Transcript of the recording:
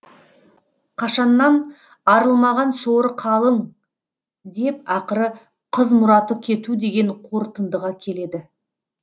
қашаннан арылмаған соры қалың деп ақыры қыз мұраты кету деген қорытындыға келеді